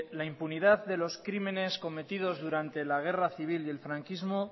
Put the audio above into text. la impunidad de los crímenes cometidos durante la guerra civil y el franquismo